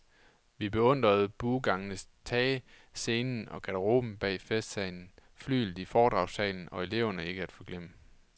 Vi beundrede buegangens tage, scenen og garderoben bag festsalen, flyglet i foredragssalen og eleverne, ikke at forglemme.